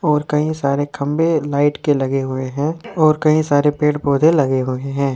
और कई सारे खंभे लाइट के लगे हुए हैं और कई सारे पेड़ पौधे लगे हुए हैं।